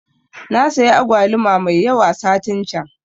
Nasayi agwaluma mai yawa satin can